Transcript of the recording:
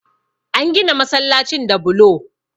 An gina masallacin da bulo